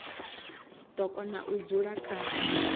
do kona u dzula kha